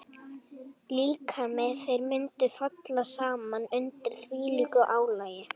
Líkami þeirra mundi falla saman undir þvílíku álagi.